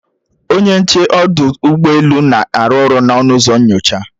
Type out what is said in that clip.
Onye nche ọdụ ụgbọelu na-arụ ọrụ n'ọnụ ụzọ nnyocha